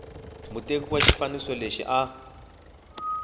muteki wa xifaniso lexi a